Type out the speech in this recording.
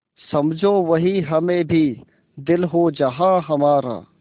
समझो वहीं हमें भी दिल हो जहाँ हमारा